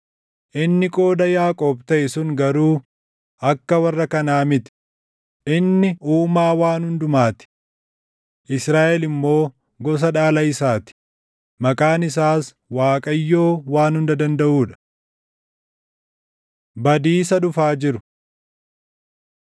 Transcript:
Inni Qooda Yaaqoob taʼe sun garuu akka warra kanaa miti; inni Uumaa waan hundumaa ti, Israaʼel immoo gosa dhaala isaa ti; maqaan isaas Waaqayyoo Waan Hunda Dandaʼuu dha. Badiisa Dhufaa Jiru